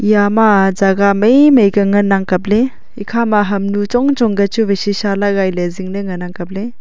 eya ma jaga mai mai ke ngan ang kap ley ekhama hamnu chong chong ka chu vai shisha lagai ley zing ley ngan ang kap ley.